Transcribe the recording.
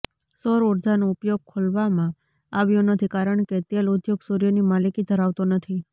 સૌર ઊર્જાનો ઉપયોગ ખોલવામાં આવ્યો નથી કારણ કે તેલ ઉદ્યોગ સૂર્યની માલિકી ધરાવતો નથી